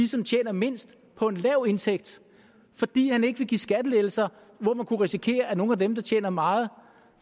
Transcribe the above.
som tjener mindst på en lav indtægt fordi han ikke vil give skattelettelser hvor man kunne risikere at nogle af dem der tjener meget